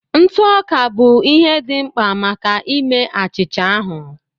Ntụ ọka bụ ihe dị mkpa maka ime achịcha ahụ